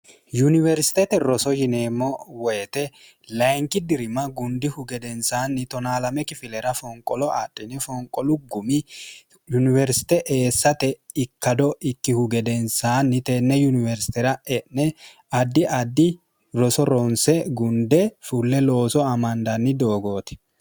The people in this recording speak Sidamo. yuniwersitete roso yineemmo woyite linki dirim gundihu gedensaanni 12kflra fonqolo adiny fonqolu gumi yuniwersite eessate ikkado ikkihu gedensaanni tenne yuniwersitera e'ne addi addi roso ronse gunde fulle looso amandanni doogooti